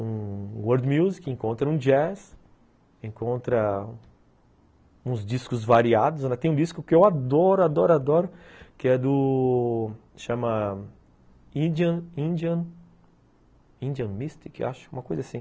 um world music, encontra um jazz, encontra uns discos variados, ainda tem um disco que eu adoro, adoro, adoro, que é do... chama... Indian... Indian... Indian Mystic, acho, uma coisa assim.